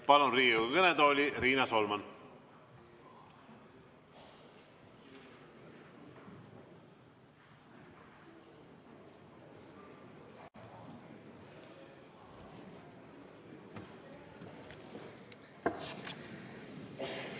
Palun Riigikogu kõnetooli, Riina Solman!